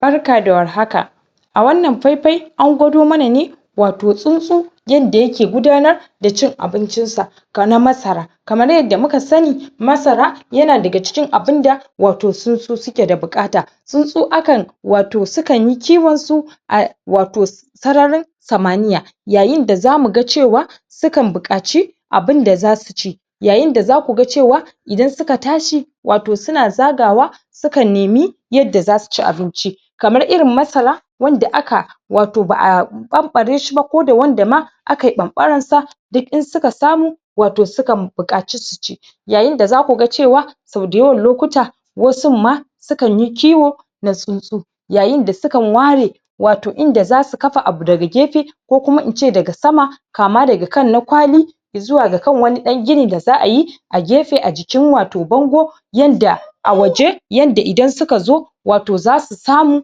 Barka da warhaka a wannan faifai, an gwado mana ne wato tsuntsu yanda ya ke gudanar da da cin abincin sa ka na masara kamar yadda muka sani masara ya na daga cikin abun da wato tsuntsu su ke da bukata tsuntsu a kan wato su kan yi kiwon su a wato sararin samaniya yayin da za mu gan cewa su kan bukaci abun da za su ci yayin da za ku gan cewa idan su ka tashi wato su na zaga wa su kan nimi yadda za su ci abinci kamar irin masara wanda aka wato ba a bambare shi ba, ko da wanda ma aka yi bambaran sa duk in su ka samu wato su kan bukatu su ci yayin da za ku gan cewa so dayawan lokuta wasun ma su kan yi kiwo na tsuntsu yayin da su kan ware wato in da za su kafa abu daga gefe ko kuma in ce da ga sama kama da ga kan na kwali izuwa ga kan wani dan gini da za a yi a gefe, a jikin wato bango yanda a waje, yadda idan su ka zo wato za su samu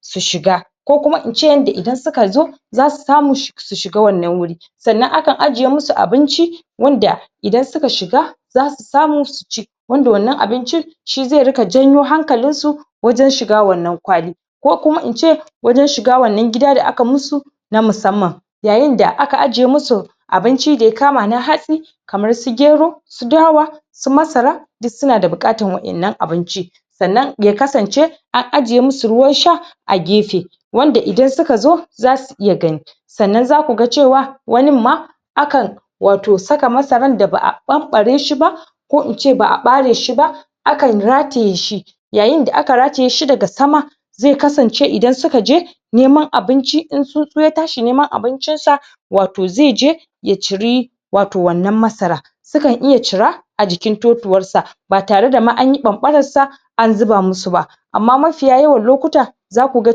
su shiga ko kuma in ce, yadda idan su ka zo za su samu su shiga wannan wuri sannan akan aje musu abinci wanda idan su ka shiga za su samu su ci wanda wannan abincin shi za ruka janyo hankalin su wajen shiga wannan kwali ko kuma in ce wajen shiga, wannan gida da aka musu na masamman yayin da aka aje musu abinci da ya kama na hatsi kamar su gero su dawa su masara duk su na bukatar wa'en nan abinci sannan ya kasance an aje musu ruwan sha a gefe wanda idan suka zo, za su iya gani sannan za ku gan cewa wanin ma akan wato saka masaran, da ba a bambare shi ba ko in ce ba a bare shi ba akan ratiye shi yayin da aka ratiye shi da ga sama zai kasance, idan su ka je neman abinci, in tsuntsu ya tashi neman abincin sa wato zai je ya ciri wato wannan masara su kan iya cira a jikin totuwar sa ba tare da ma, anyi bambaran sa an zuba musu ba ama mafiya yawan lokuta za ku gan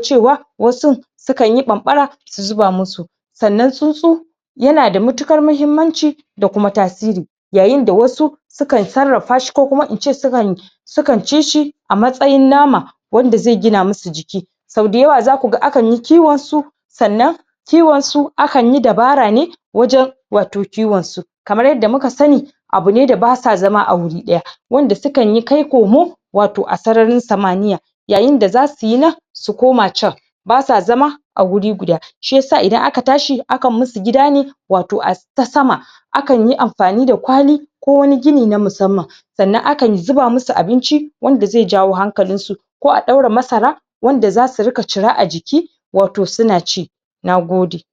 cewa wasun su kan yi bambara su zuba musu sannan tsuntsu ya na da matukar mahimanci da kuma tasiri yayin da wasu su kan tsarafa shi, ko kuma in ce su kan su kan ci shi a matsayin nama wanda zai gina musu jiki so dayawa za ku gan, akan yi kiwon su sannan kiwon su, akan yi dabara ne wajen wato kiwon su kamar yadda muka sani abu ne da basa zama a wurin daya wanda su kan yi kai komo wato a sasarin samaniya yayin da za su yi nan su koma can ba sa zama a wuri guda shiyasa idan aka tashi, akan yi musu gida ne wato a ta sama a kan yi amfani da kwali ko wani gini, na masamman sannan a kan zuba musu abinci wanda zai jawo hankalin su ko a daura masara wanda za su ruka cira a ciki toh su na ci na gode